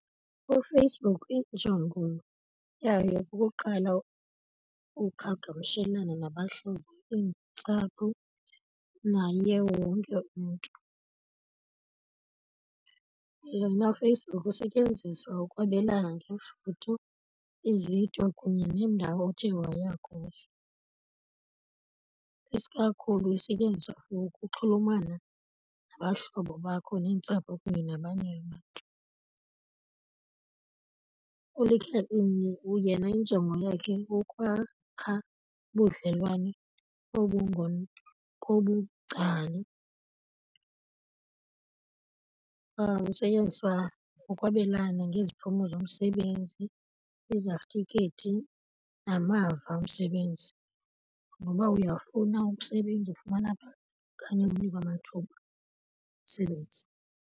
UFacebook injongo yayo kukuqala uqhagamshelwano nabahlobo, iintsapho naye wonke umntu. Yena uFacebook usetyenziswa ukwabelana ngeefoto, iividiyo kunye neendawo othe waya kuzo. Isikakhulu isetyenziswa for ukuxhulumana nabahlobo bakho, neentsapho kunye nabanye abantu. ULinkedIn yena injongo yakhe kukwakha ubudlelwane , kusetyenziswa ukwabelana ngeziphumo zomsebenzi, izatifikhethi namava omsebenzi. Noba uyafuna umsebenzi uwufumana phaa okanye unikwe amathuba omsebenzi.